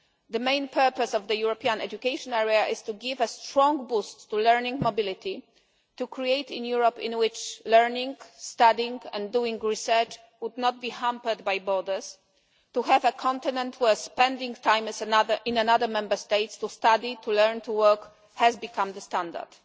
The main purpose of the European education area is to give a strong boost to learning mobility, to create a Europe in which learning, studying and doing research would not be hampered by borders so as to have a continent where spending time in another Member States to study, to learn and to work, has become the standard.